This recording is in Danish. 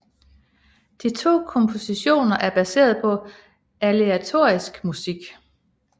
De to kompositioner er baseret på aleatorisk musik